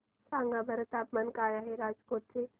सांगा बरं तापमान काय आहे राजकोट चे